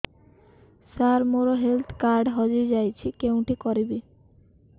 ସାର ମୋର health card ହଜି ଯାଇଛି କେଉଁଠି କରିବି